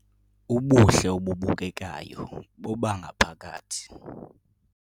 Ubuhle obubukekayo bobangaphakathi